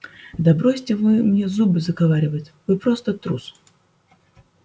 да бросьте вы мне зубы заговаривать вы просто трус